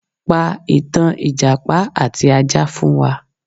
Pa ìtàn ìjàpá àti ajá fún wa